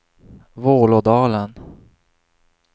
Vålådalen